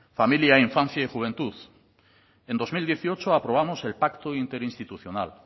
familia infancia y juventud en dos mil dieciocho aprobamos el pacto interinstitucional